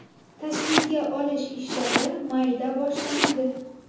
Tasvirga olish ishlari mayda boshlanadi.